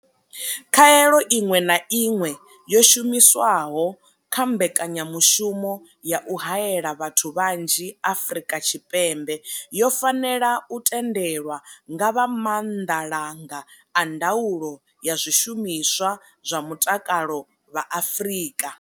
Khaelo iṅwe na iṅwe yo shumiswaho kha mbeka nyamushumo ya u haela vhathu vhanzhi Afrika Tshipembe yo fanela u tendelwa nga vha Maanḓalanga a Ndaulo ya Zwishumiswa zwa Mutakalo vha Afrika.